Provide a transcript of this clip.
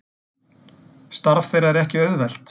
Starf þeirra er ekki auðvelt